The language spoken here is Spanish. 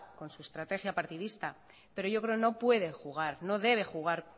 con su estrategia partidista pero yo creo que no puede jugar no debe jugar